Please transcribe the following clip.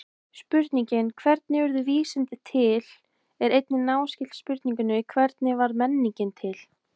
Spurningin hvernig urðu vísindi til er einnig náskyld spurningunni hvernig varð menningin til?